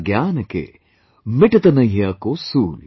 All progress is meaningless if one's mother tongue is neglected"